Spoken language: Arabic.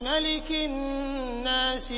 مَلِكِ النَّاسِ